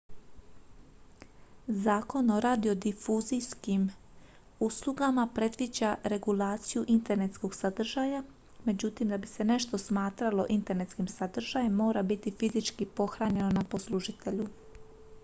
zakon o radiodifuzijskim uslugama predviđa regulaciju internetskog sadržaja; međutim da bi se nešto smatralo internetskim sadržajem mora biti fizički pohranjeno ​​na poslužitelju